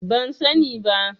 Ban sani ba.